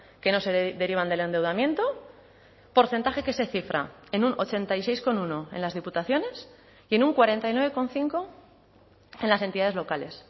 que no se derivan del endeudamiento porcentaje que se cifra en un ochenta y seis coma uno en las diputaciones y en un cuarenta y nueve coma cinco en las entidades locales